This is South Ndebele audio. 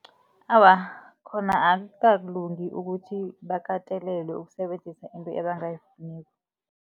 Awa, khona akukalungi ukuthi bakatelelwe ukusebenzisa into ebangayifuniko.